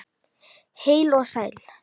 Heil og sæl!